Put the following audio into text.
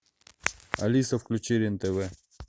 алиса включи рен тв